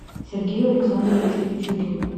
сергею александровичу пичугину